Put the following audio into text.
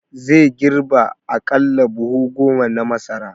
Zai girbe aƙalla buhu goma na masara